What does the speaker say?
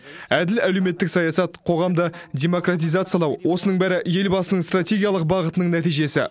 әділ әлеуметтік саясат қоғамды демократизациялау осының бәрі елбасының стратегиялық бағытының нәтижесі